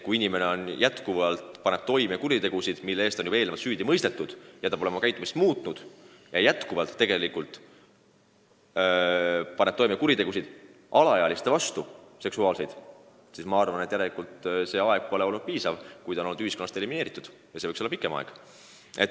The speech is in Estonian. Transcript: Kui inimene jätkuvalt paneb toime kuritegusid, mille eest ta on süüdi mõistetud, kui ta pole oma käitumist muutnud ja endiselt paneb toime seksuaalkuritegusid alaealiste vastu, siis järelikult tema ühiskonnast eraldamise aeg pole olnud piisav, see võiks olla pikem.